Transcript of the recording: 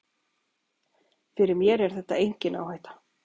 Fyrir mér er þetta engin áhætta.